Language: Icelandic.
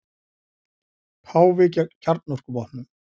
Páfi gegn kjarnorkuvopnum